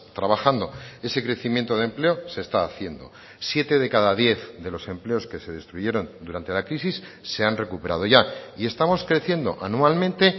trabajando ese crecimiento de empleo se está haciendo siete de cada diez de los empleos que se destruyeron durante la crisis se han recuperado ya y estamos creciendo anualmente